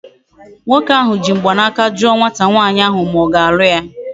Nwoke ahu ji mgbanaka juo nwata nwaanyi ahu ma o ga-alu ya